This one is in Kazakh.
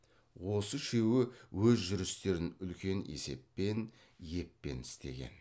осы үшеуі өз жүрістерін үлкен есеппен еппен істеген